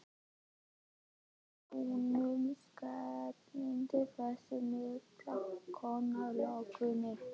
Að svo búnu skellti þessi mikla kona lokunni.